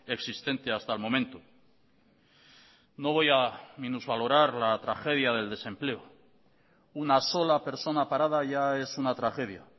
existente hasta el momento no voy a minusvalorar la tragedia del desempleo una sola persona parada ya es una tragedia